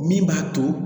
Min b'a to